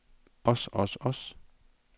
os os os